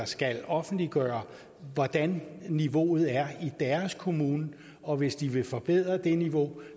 skal offentliggøre hvordan niveauet er i deres kommune og hvis de vil forbedre det niveau